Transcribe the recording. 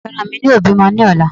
Ẹran mí yóò bímọ ní ọ̀la